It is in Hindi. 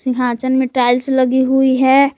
यहाँ आँचन में टाइल्स लगी हुई है।